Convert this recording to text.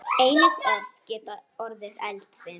Einnig orð geta orðið eldfim.